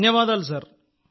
ధన్యవాదాలు సార్